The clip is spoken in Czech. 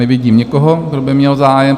Nevidím nikoho, kdo by měl zájem.